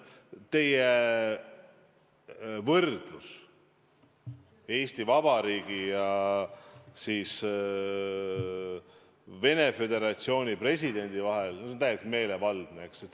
Teie võrdlus Eesti Vabariigi ja Venemaa Föderatsiooni presidendi ettevõtmiste vahel – no see on täiesti meelevaldne.